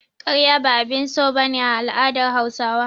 Karya ba abin so ba ne a al'adar Hausawa.